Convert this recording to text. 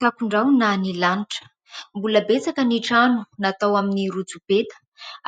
Takon-drahona ny lanitra, mbola betsaka ny trano natao amin'ny rotsopeta